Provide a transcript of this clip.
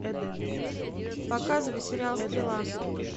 показывай сериал стрела